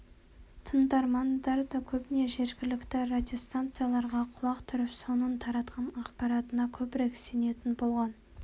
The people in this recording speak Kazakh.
тыңдармандар да көбіне жергілікті радиостанцияларға құлақ түріп соның таратқан ақпаратына көбірек сенетін болған